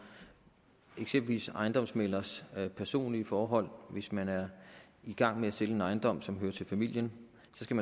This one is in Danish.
eksempelvis ejendomsmæglerens personlige forhold hvis man er i gang med at sælge en ejendom som hører til familien